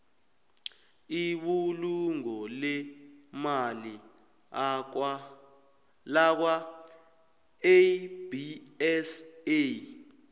ibulungo leemali lakwaabsa